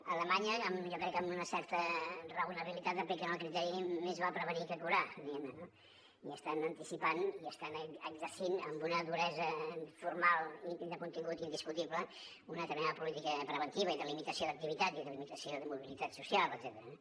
a alemanya jo crec que amb una certa raonabilitat apliquen el criteri més val prevenir que curar diguem ne no i s’estan anticipant i estan exercint amb una duresa formal i de contingut indiscutible una determinada política preventiva i de limitació d’activitat i de limitació de mobilitat social etcètera